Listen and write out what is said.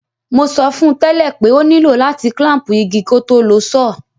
Mo sọ fun tẹ̀lẹ́ pe o nìló láti clamp igi kótó lo saw